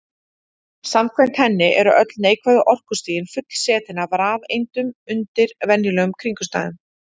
Samkvæmt henni eru öll neikvæðu orkustigin fullsetin af rafeindum undir venjulegum kringumstæðum.